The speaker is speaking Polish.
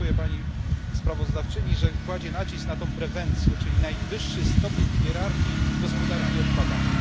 Dziękuję sprawozdawczyni, że kładzie nacisk na tę prewencję, czyli najwyższy stopień w hierarchii gospodarki odpadami.